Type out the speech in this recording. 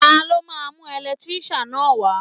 Ta ló máa mú ẹ̀lẹ́tíríṣàn náà wá?